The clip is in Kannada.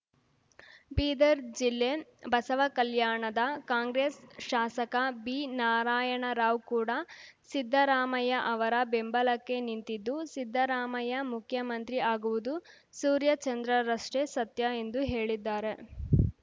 ಬೀದರ್‌ ಜಿಲ್ಲೆ ಬಸವಕಲ್ಯಾಣದ ಕಾಂಗ್ರೆಸ್‌ ಶಾಸಕ ಬಿನಾರಾಯಣರಾವ್‌ ಕೂಡ ಸಿದ್ದರಾಮಯ್ಯ ಅವರ ಬೆಂಬಲಕ್ಕೆ ನಿಂತಿದ್ದು ಸಿದ್ದರಾಮಯ್ಯ ಮುಖ್ಯಮಂತ್ರಿ ಆಗುವುದು ಸೂರ್ಯ ಚಂದ್ರರಷ್ಟೇ ಸತ್ಯ ಎಂದು ಹೇಳಿದ್ದಾರೆ